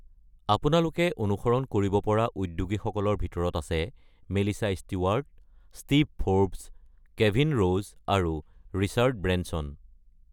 আপোনালোকে অনুসৰণ কৰিব পৰা উদ্যোগীসকলৰ ভিতৰত আছে Melissa Stewart, Steve Forbes, Kevin Rose, আৰু ৰিচাৰ্ড ব্ৰেনছন।